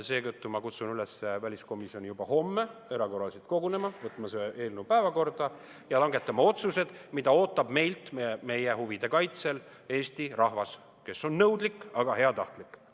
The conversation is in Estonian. Seetõttu ma kutsun väliskomisjoni üles juba homme erakorraliselt kogunema, võtma see eelnõu päevakorda ja langetama otsused, mida ootab meilt oma huvide kaitseks Eesti rahvas, kes on nõudlik, aga heatahtlik.